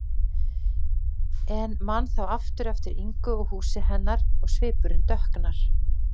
En man þá aftur eftir Ingu og húsi hennar og svipurinn dökknar.